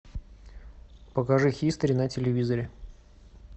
покажи хистори на телевизоре